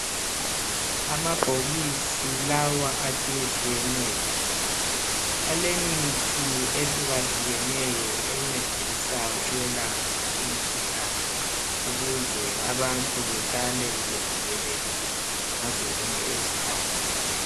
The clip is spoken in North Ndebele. Amabhokisi lawa atshiyetshiyeneyo, alemithi ehlukahlukeneyo encedisa ukwelapha imkhuhlane ukuze abantu behlale bevikelekile ngazo zonke izikhathi.